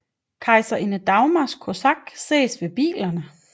Kejserinde Dagmars kosak ses ved bilerne